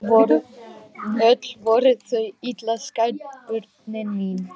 Öll voru þau illa skædd börnin mín.